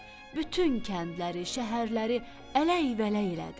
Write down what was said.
Bütün kəndləri, şəhərləri ələk-vələk elədi.